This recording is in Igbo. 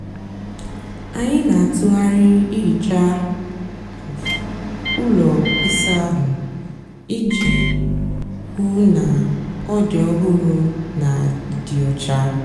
ányị nà-àtụgharị íhíchá úló ịsá áhụ́ íjì hú ná ọ dị ọhụrụ nà ịdị ọcha.